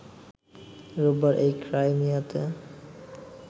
রোববার এই ক্রাইমিয়াতে